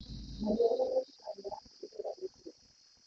Aria na dagĩtarĩ wakũ ũrĩa ũngĩka